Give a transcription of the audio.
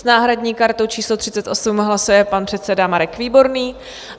S náhradní kartou číslo 38 hlasuje pan předseda Marek Výborný.